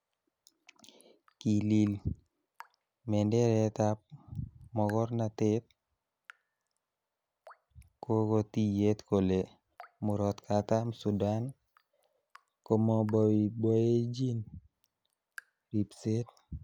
Kilil menderetab makornatet, kogo tiyet kole Murot Katam Sudan komoboiboenyin ribset.